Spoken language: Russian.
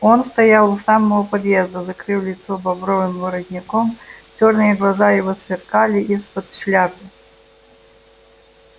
он стоял у самого подъезда закрыв лицо бобровым воротником чёрные глаза его сверкали из-под шляпы